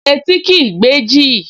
Etí kìí gbẹ́jì